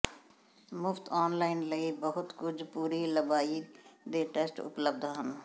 ਮੁਫ਼ਤ ਔਨਲਾਈਨ ਲਈ ਬਹੁਤ ਕੁਝ ਪੂਰੀ ਲੰਬਾਈ ਦੇ ਟੈਸਟ ਉਪਲਬਧ ਹਨ